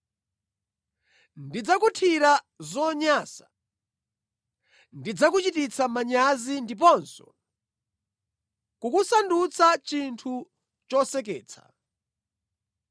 Ndidzakuthira zonyansa, ndidzakuchititsa manyazi ndiponso kukusandutsa chinthu choseketsa.